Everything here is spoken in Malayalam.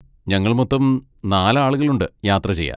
ഞങ്ങൾ മൊത്തം നാല് ആളുകളുണ്ട് യാത്ര ചെയ്യാൻ.